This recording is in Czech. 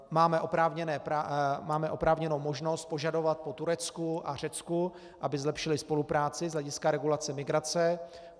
Máme oprávněnou možnost požadovat po Turecku a Řecku, aby zlepšily spolupráci z hlediska regulace migrace.